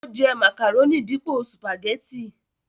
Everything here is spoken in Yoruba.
ó jẹ́ màkàrónì dípò sùpàgẹ́tì